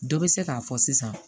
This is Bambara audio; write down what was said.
Dɔ bɛ se k'a fɔ sisan